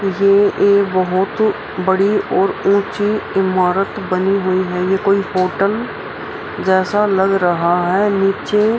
ये एक बहोत बड़ी और ऊंची इमारत बनी हुई है ये कोई होटल जैसा लग रहा है नीचे --